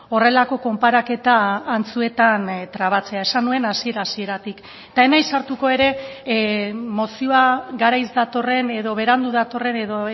horrelako konparaketa antzuetan trabatzea esan nuen hasiera hasieratik eta ez naiz sartuko ere mozioa garaiz datorren edo berandu datorren edo